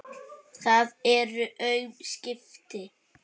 Það eru aum skipti.